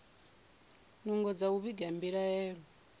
nungo dza u vhiga mbilaelo